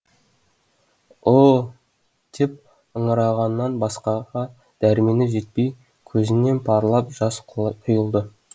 ы ы ы деп ыңырағаннан басқаға дәрмені жетпей көзінен парлап жас құйылды